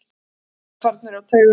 Ráðherrar farnir á taugum.